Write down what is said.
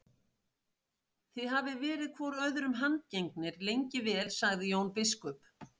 Þið hafið verið hvor öðrum handgengnir lengi vel, sagði Jón biskup.